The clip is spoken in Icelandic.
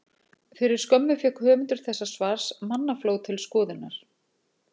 Fyrir skömmu fékk höfundur þessa svars mannafló til skoðunar.